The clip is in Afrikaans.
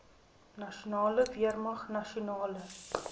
nasionale weermag nasionale